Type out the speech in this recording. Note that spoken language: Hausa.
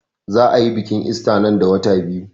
Za a yi biƙin ista nan da wata biyu